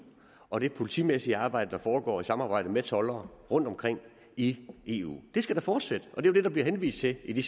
og det politimæssige arbejde der foregår i samarbejde med toldere rundtomkring i eu det skal da fortsætte og det det der bliver henvist til i det